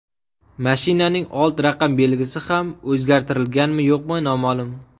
Mashinaning old raqam belgisi ham o‘zgartirilganmi-yo‘qmi, noma’lum.